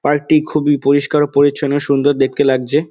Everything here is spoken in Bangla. পার্ক -টি খুবই পরিষ্কার ও পরিচ্ছন্ন সুন্দর দেখতে লাগছে ।